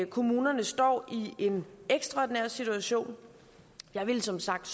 kommunerne står i en ekstraordinær situation og jeg ville som sagt